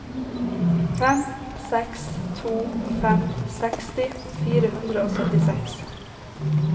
fem seks to fem seksti fire hundre og syttiseks